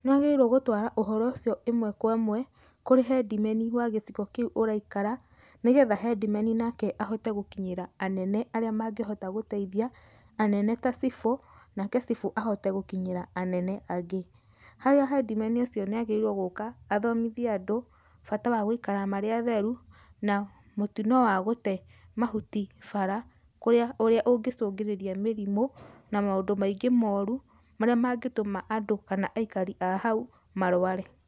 Nĩwagĩrĩirwo gũtwara ũhoro ũcio ĩmwe kwa ĩmwe kũri hendimeni wa gĩcigo kĩu ũraikara, nĩgetha hendimeni nake ahote gũkinyĩra anene arĩa mangĩhota gũteithia, anene ta cibũ, nake cibũ ahote gũkinyĩra anene angĩ, harĩa hendimeni ũcio nĩagĩrĩirwo gũka, athomithie andũ, bata wa gũikara marĩ atheru, na mũtino wa gũte mahuti bara kũrĩa, ũrĩa ũngĩcungĩrĩria mĩrimũ, na maũndũ maingĩ moru, marĩa mangĩtũma andũ kana aikari a hau marware.